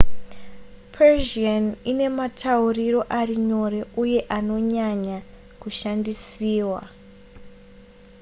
persian ine matauriro ari nyore uye anonyanya kushandisiwa